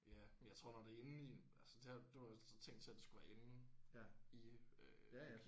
Ja men jeg tror når det er inde i en altså det det var også ligesom tænkt til at det skulle være inde i øh